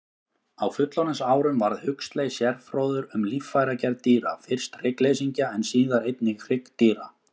Á fullorðinsárum varð Huxley sérfróður um líffæragerð dýra, fyrst hryggleysingja en síðar einnig hryggdýra.